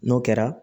N'o kɛra